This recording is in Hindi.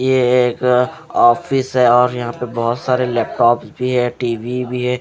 ये एक ऑफिस है और यहाँ पर बहुत सारे लैपटॉप भी है टी_वी भी है।